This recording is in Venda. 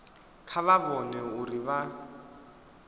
kha vha vhone uri vha